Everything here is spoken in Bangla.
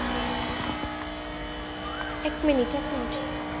এক minute এক minite